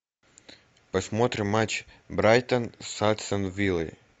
посмотрим матч брайтон с астон виллой